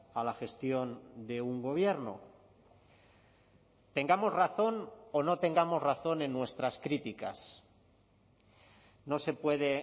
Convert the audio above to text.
a la gestión de un gobierno tengamos razón o no tengamos razón en nuestras críticas no se puede